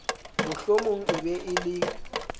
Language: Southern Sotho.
mohlomong e be e le